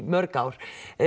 mörg ár